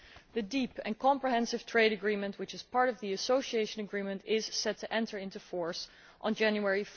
The deep and comprehensive trade agreement which is part of the Association Agreement is set to enter into force on 1 January